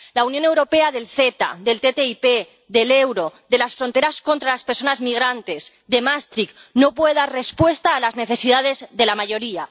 La Unión Europea del CETA, del TTIP, del euro, de las fronteras contra las personas migrantes, de Maastricht no puede dar respuesta a las necesidades de la mayoría.